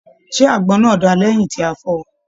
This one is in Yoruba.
Ṣe àgbọn náà dáa lẹyìn tí a fọọ̀?